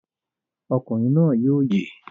Ọkùnrin náà yóò yè!